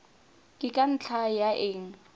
ke ka ntlha ya eng